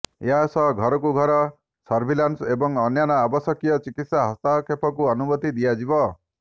ଏହାସହ ଘରକୁ ଘର ସର୍ଭିଲାନ୍ସ ଏବଂ ଅନ୍ୟାନ୍ୟ ଆବଶ୍ୟକୀୟ ଚିକିତ୍ସା ହସ୍ତକ୍ଷେପକୁ ଅନୁମତି ଦିଆଯିବ